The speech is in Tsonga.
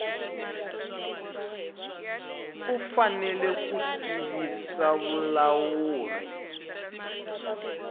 u fanele ku tivisa vulawuri